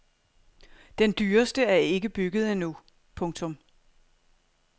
Den dyreste er ikke bygget endnu. punktum